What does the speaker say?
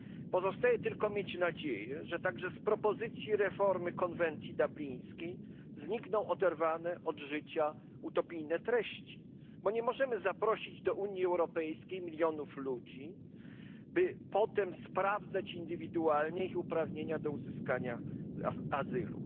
Pozostaje tylko mieć nadzieję, że także z propozycji reformy konwencji dublińskiej znikną oderwane od życia utopijne treści, gdyż nie możemy zaprosić do Unii Europejskiej milionów ludzi, by potem sprawdzać indywidualnie ich uprawnienia do uzyskania azylu.